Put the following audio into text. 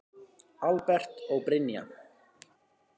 Albert og Brynja.